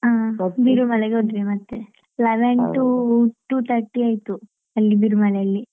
Birumale ಗೆ ಹೋದ್ವಿ ಮತ್ತೆ leven to two thirty ಆಯ್ತು, ಅಲ್ಲಿ Birumale ಯಲ್ಲಿ.